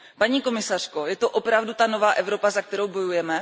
Paní komisařko, je to opravdu ta nová Evropa, za kterou bojujeme?